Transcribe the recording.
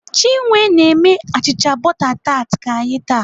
Chinwe na-eme achịcha bọta tat ka anyị taa.